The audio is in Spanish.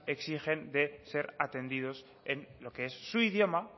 exigen de ser atendidos en lo que es su idioma